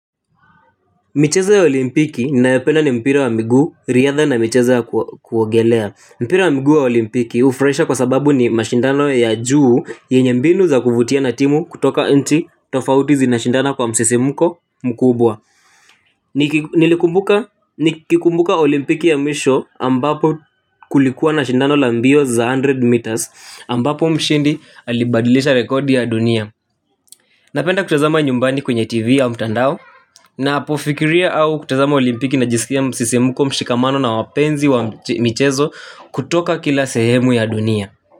Michezo ya olimpiki ninayopenda ni mpira wa mguu, riadha na michezo ya kuogelea. Mpira wa mguu ya olimpiki hufurahisha kwa sababu ni mashindano ya juu yenye mbinu za kuvutia na timu kutoka nchi tofauti zinashindana kwa msisimko mkubwa. Nikikumbuka olimpiki ya mwisho ambapo kulikuwa na shindano la mbio za mia moja meters ambapo mshindi alibadilisha rekodi ya dunia. Napenda kutazama nyumbani kwenye tv au mtandao napofikiria au kutazama olimpiki na jisikia msisimuko mshikamano na wapenzi wa mchezo kutoka kila sehemu ya dunia.